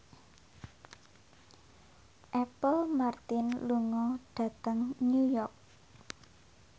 Apple Martin lunga dhateng New York